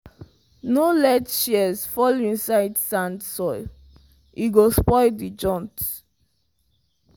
no let your shears fall inside sand soil e go spoil the joint.